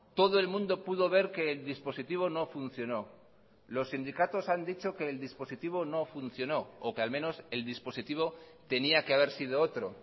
todo el mundo pudo ver que el dispositivo no funcionó los sindicatos han dicho que el dispositivo no funcionó o que al menos el dispositivo tenía que haber sido otro